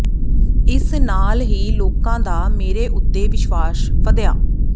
ਇਸ ਨਾਲ ਹੀ ਲੋਕਾਂ ਦਾ ਮੇਰੇ ਉੱਤੇ ਵਿਸ਼ਵਾਸ ਵਧਿਆ